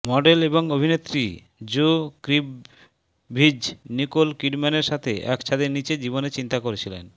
model এবং অভিনেত্রী Zoe Kravitz Nicole কিডম্যানের সাথে এক ছাদের নীচে জীবনের চিন্তা করেছিলেন